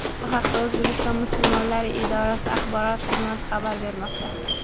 Bu haqda O‘zbekiston musulmonlari idorasi axborot xizmati xabar bermoqda .